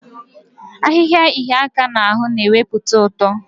Ahịhịa ịhịa aka n'ahụ na-ewepụta ụtọ.